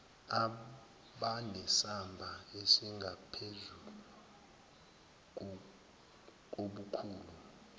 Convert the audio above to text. abanesamba esingaphezulu kobukhulu